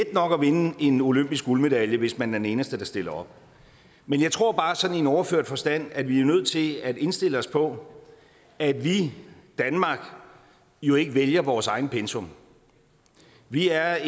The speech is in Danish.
nok at vinde en olympisk guldmedalje hvis man er den eneste der stiller op men jeg tror bare sådan i overført forstand at vi er nødt til at indstille os på at vi danmark jo ikke vælger vores eget pensum vi er